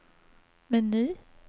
meny